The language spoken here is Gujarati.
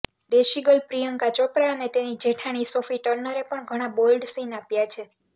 દેશી ગર્લ પ્રિયંકા ચોપરા અને તેની જેઠાણી સોફી ટર્નરે પણ ઘણા બોલ્ડ સીન આપ્યા છે